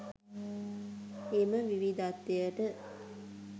එම විවිධත්වයට